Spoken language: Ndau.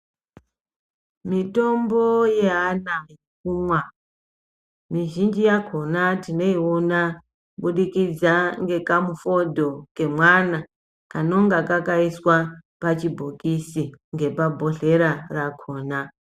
Mitombo yeana yekumwa, mizhinji yakona tinoyiona kubudikidza ngekamufodho kemwana, kanonga kakayiswa pachibhokisi, ngepabhodhlera rakona.